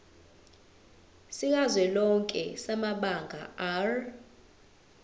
sikazwelonke samabanga r